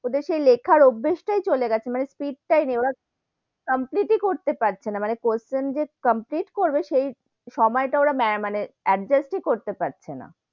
ওদের সেই লেখার অভ্যেস তাই চলে গেছে, মানে speed টাই নেই, ওরা complete ই করতে পারছে না, মানে question যে complete করবে সেই, সেই সময় টা মানে adjust এ করতে পারছে না,